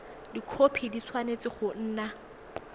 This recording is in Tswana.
dikhopi di tshwanetse go nna